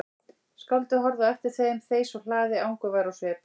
Skáldið horfði á eftir þeim þeysa úr hlaði angurvær á svip.